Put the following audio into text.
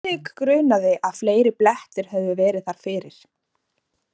Friðrik grunaði, að fleiri blettir hefðu verið þar fyrir.